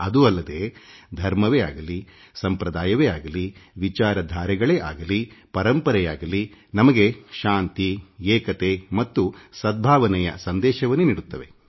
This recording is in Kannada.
ಅದೂ ಅಲ್ಲದೇ ಧರ್ಮವೇ ಆಗಲಿಸಂಪ್ರದಾಯವೇ ಆಗಲಿ ವಿಚಾರಧಾರೆಗಳಾಗಲಿಪರಂಪರೆಯಾಗಲಿ ನಮಗೆ ಶಾಂತಿ ಏಕತೆ ಮತ್ತು ಸದ್ಭಾವನೆಯ ಸಂದೇಶವನ್ನೇ ನೀಡುತ್ತವೆ